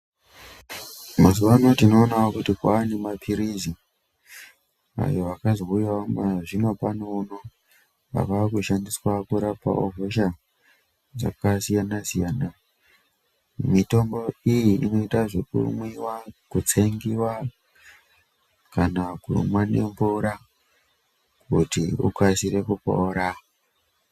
Mazuwano tinoonawo kuti kwava nemaphirizi ayo akazouyawo zvinopano uno, ava kushandiswa kurapawo hosha dzakasiyana-siyana. Mitombo iyi inoitwa zvekumwiwa, kutsengiwa kana kumwa nemvura kuti ukasire kupora.